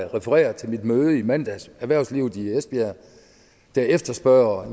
referere til mit møde i mandags erhvervslivet i esbjerg der efterspørger